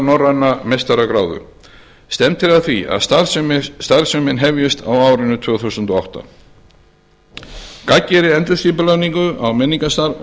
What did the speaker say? norræna meistaragráðu stefnt er að því að starfsemin hefjist á árinu tvö þúsund og átta gagngerri endurskipulagningu á